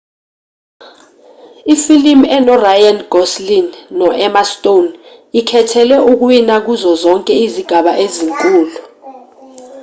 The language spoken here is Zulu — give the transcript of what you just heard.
ifilimu eno-ryan gosling noemma stone ikhethelwe ukuwina kuzo zonke izigaba ezinkulu